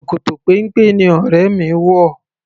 Ṣòkòtò péńpé ni ọrẹ mi wò.